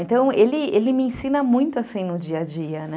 Então, ele ele me ensina muito no dia a dia, né?